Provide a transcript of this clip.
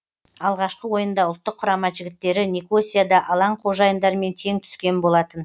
алғашқы ойында ұлттық құрама жігіттері никосияда алаң қожайындарымен тең түскен болатын